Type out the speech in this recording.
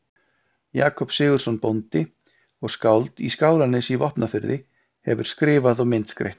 Jakob Sigurðsson bóndi og skáld í Skálanesi í Vopnafirði hefur skrifað og myndskreytt.